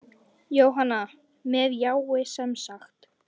Jóhanna: Með jái, semsagt?